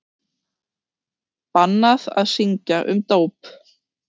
Bannað að syngja um dóp